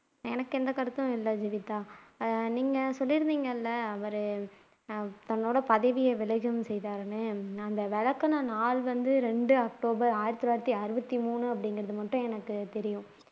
எனக்கு எந்த கருத்தும் இல்ல ஜீவிதா நீங்க சொல்லி இருந்தீங்க இல்ல அவர் தன்னோட பதவியை விலகவும் செய்தார்னு அந்த விலக்குன நாள் வந்து இரண்டு அக்டோபர் ஆயிரத்து தொள்ளாயிரத்து அறுபத்து மூணு அப்படிங்கிறது மட்டும் எனக்கு தெரியும்